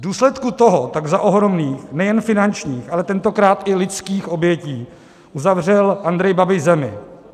V důsledku toho tak za ohromných nejen finančních, ale tentokrát i lidských obětí zavřel Andrej Babiš zemi.